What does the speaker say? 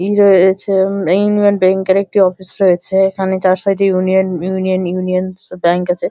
ই রয়েছে উমমম Union Bank এর একটি অফিস রয়েছে যার সাইড এ ইউনিয়ন ইউনিয়ন ইউনিয়ন ব্যাঙ্ক আছে।